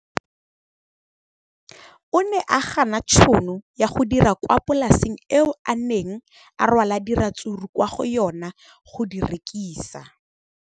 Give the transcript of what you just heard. O ne a gana tšhono ya go dira kwa polaseng eo a neng rwala diratsuru kwa go yona go di rekisa.